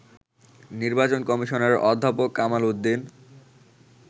নির্বাচন কমিশনার অধ্যাপক কামাল উদ্দিন